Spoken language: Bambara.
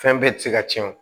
Fɛn bɛɛ ti se ka tiɲɛ o